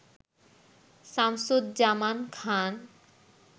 Shamsuzzaman Khan